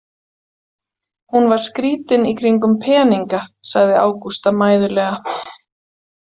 Hún var skrítin í kringum peninga, sagði Ágústa mæðulega.